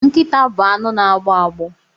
Nkịta bụ anụ na agbọ agbọ